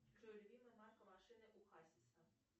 джой любимая марка машины у хасиса